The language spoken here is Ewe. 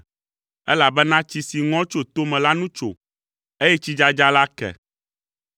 elabena tsi si ŋɔ tso tome la nu tso, eye tsidzadza la ke.